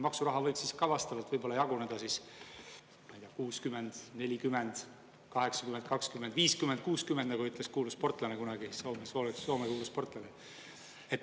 Maksuraha võib siis ka vastavalt jaguneda 60 : 40; 80 : 20 või 50 : 60, nagu ütles kunagi kuulus Soome sportlane.